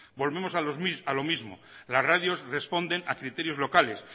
volvemos a lo mismo las radios responden a criterios locales